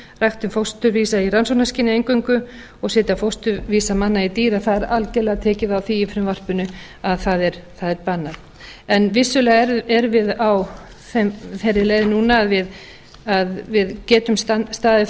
ræktun fósturvísa í rannsóknarskyni eingöngu og að setja fósturvísa manna í dýr að það er algjörlega tekið á því í frumvarpinu að það er bannað en vissulega erum við á þeirri leið núna að við getum staðið